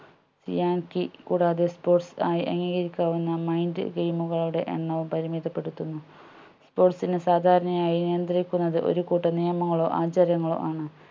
see and key കൂടാതെ sports ആയി അംഗീകരിക്കാവുന്ന mind game കളുടെ എണ്ണവും പരിമിതപെടുത്തുന്നു sports നെ സാധാരണ ആയി നിയന്ത്രിക്കുന്നത് ഒരു കൂട്ടം നിയമങ്ങളോ ആചാരങ്ങളോ ആണ്